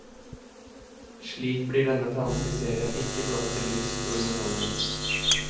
Slik blir denne franske serien ikke blott til lyst og underholdning.